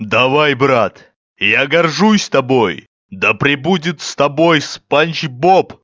давай брат я горжусь тобой да пребудет с тобой спанч боб